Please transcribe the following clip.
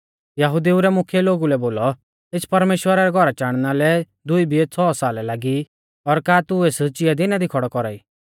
यहुदिऊ रै मुख्यै लोगुऐ बोलौ एस परमेश्‍वरा रै घौरा चाणना लै दुई बिऐ छ़ौ साल लागै ई और का तू एस चिया दिना दी खौड़ौ कौरा ई